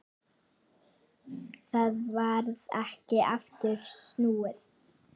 Það varð ekki aftur snúið.